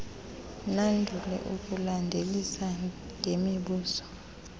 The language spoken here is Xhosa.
nandule ukulandelisa ngemibuzo